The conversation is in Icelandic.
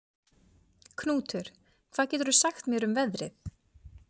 Knútur, hvað geturðu sagt mér um veðrið?